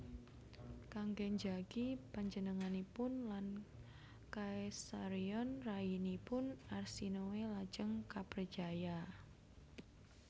Kanggé njagi panjenenganipun lan Caesarion rayinipun Arsinoe lajeng kaprejaya